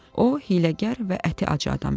O hiyləgər və əti acı adam idi.